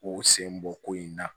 K'u sen bɔ ko in na